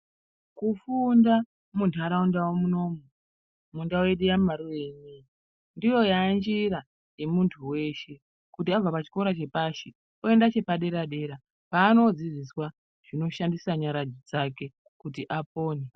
Kufunda muntaundau munomu munomundau yeduyamaruu inei ndiyo yaanjira yemuntu weshe wabva pachikora chepashi w oende chepadera dera kwaanodzidziswa kushandisa nyara dzake kuti apone.